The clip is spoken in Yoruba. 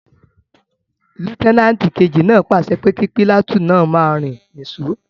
Lútẹ́nàtì kejì náà pàṣẹ pé kí pìlàtúùnù náà máa rìn ní sò